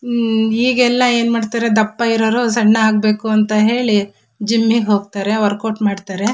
ಉಹ್ ಈಗೆಲ್ಲಾ ಏನ್ ಮಾಡತ್ತರೆ ದಪ್ಪ ಇರೋರು ಸಣ್ಣ ಆಗಬೇಕಂತ ಹೇಳಿ ಜಿಮ್ಮಿಗೆ ಹೋಗತ್ತಾರೆ ವರ್ಕೌಟ್ ಮಾಡತ್ತರೆ.